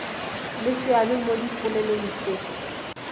le seabe mo dipoelong tse